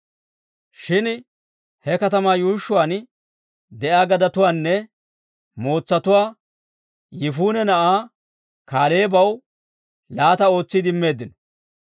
Shin he katamaa yuushshuwaan de'iyaa gadetuwaanne mootsatuwaa Yifune na'aa Kaaleebaw laata ootsiide immeeddino.